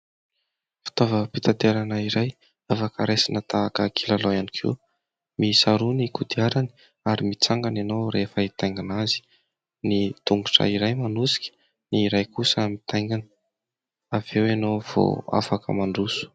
Fitaovam-pitanterana iray, afaka raisina tahaka kilalao ihany koa. Miisa roa ny kodiarana, ary mitsangana ianao rehefa itaingina azy. Ny tongotra iray manosika, ny iray kosa mitaingina ; avy eo ianao vao afaka mandroso.